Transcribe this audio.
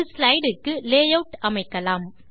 ஒரு ஸ்லைடு க்கு லேயூட் அமைக்கலாம்